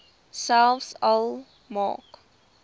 selfs al maak